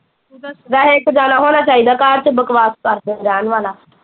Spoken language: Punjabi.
ਵੈਸੇ ਇੱਕ ਜਣਾ ਹੋਣਾ ਚਾਹੀਦਾ ਘਰ ਚ ਬਕਵਾਸ ਕਰ ਦੇਣ ਰਹਿਣ ਵਾਲਾ